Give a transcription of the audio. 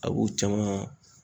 A b'u caman